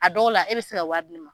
A dɔw la e bɛ se ka wari di ne ma.